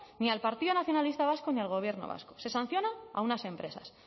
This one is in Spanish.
ni al partido nacionalista vasco ni al gobierno vasco se sanciona a unas empresas